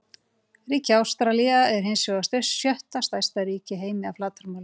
Ríkið Ástralía er hins vegar sjötta stærsta ríki í heimi að flatarmáli.